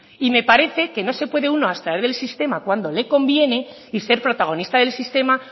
y me parece que no se puede uno abstraer del sistema cuando le conviene y ser protagonista del sistema